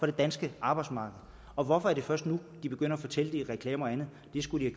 det danske arbejdsmarked og hvorfor er det først nu de begynder at fortælle det i reklamer og andet det skulle de